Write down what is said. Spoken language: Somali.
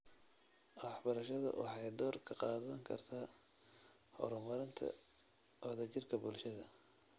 Waxbarashadu waxay door ka qaadan kartaa horumarinta wadajirka bulshada.